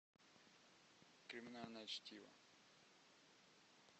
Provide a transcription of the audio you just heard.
криминальное чтиво